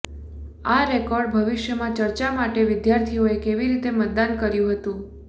આ રેકોર્ડ ભવિષ્યમાં ચર્ચા માટે વિદ્યાર્થીઓએ કેવી રીતે મતદાન કર્યું હતું